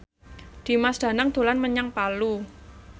Dimas Danang dolan menyang Palu